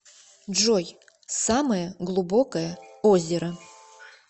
джой самое глубокое озеро